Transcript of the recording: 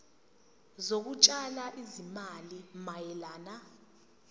zokutshala izimali mayelana